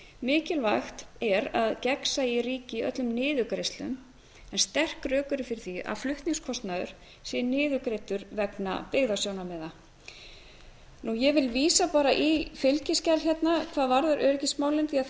mikilvægt er að gegnsæi ríki í öllum niðurgreiðslum en sterk rök eru fyrir því að flutningskostnaður sé niðurgreiddur vegna byggðasjónarmiða ég vil vísa bara í fylgiskjal hérna hvað varðar öryggismálin því þar